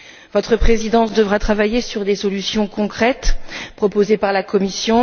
Votre Présidence devra travailler sur des solutions concrètes proposées par la Commission.